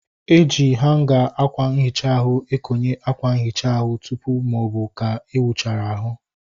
E ji hanga akwa nhicha ahu ekonye akwa nhicha ahụ tụpụ maọbụ ka ị wuchara ahu